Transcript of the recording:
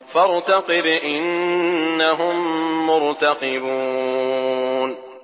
فَارْتَقِبْ إِنَّهُم مُّرْتَقِبُونَ